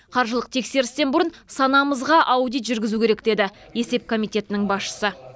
қаржылық тексерістен бұрын санамызға аудит жүргізу керек деді есеп комитетінің басшысы